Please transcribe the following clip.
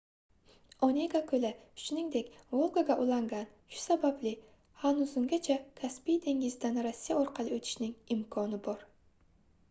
onega koʻli shuningdek volgaga ulangan shu sababli hazungacha kaspiy dengizidan rossiya orqali oʻtishning imkoni bor